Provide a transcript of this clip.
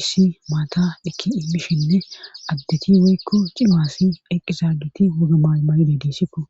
issi maata ikki immishinne addeti woykko cimaasi eqqizaagiti wogamaymayide diisikko.